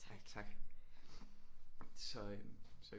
Tak så øh så